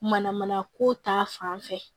Mana mana ko ta fan fɛ